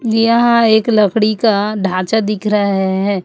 यहां एक लकड़ी का ढांचा दिख रहा है है।